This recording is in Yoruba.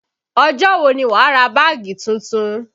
Ọjọ́ wo ni wà á ra báàgì tuntun?